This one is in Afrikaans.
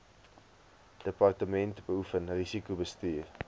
departement beoefen risikobestuur